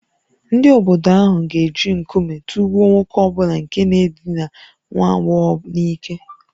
Ndị obodo ahụ ga-eji nkume tụgbuo nwoke ọ bụla nke na-edina nwa agbọghọ n’ike